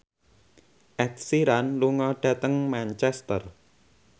Ed Sheeran lunga dhateng Manchester